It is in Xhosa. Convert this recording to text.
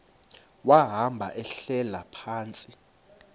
wahamba ehlala phantsi